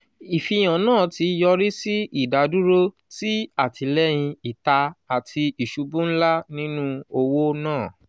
ifihan naa ti yori si idaduro ti atilẹyin ita ati isubu nla ninu owo naa.